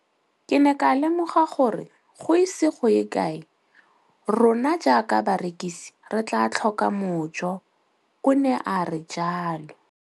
Ke ne ka lemoga gore go ise go ye kae rona jaaka barekise re tla tlhoka mojo, o ne a re jalo.